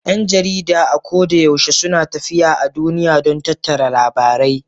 Yan jarida a ko da yaushe suna tafiya a duniya don tattara labarai